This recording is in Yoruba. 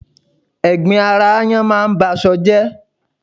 Ẹ̀gbin ara aáyán máa ń ba aṣọ jẹ́